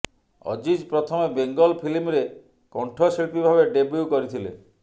ଅଜିଜ ପ୍ରଥମେ ବେଙ୍ଗଲ ଫିଲ୍ମରେ କଣ୍ଠଶିଳ୍ପୀ ଭାବେ ଡେବ୍ୟୁ କରିଥିଲେ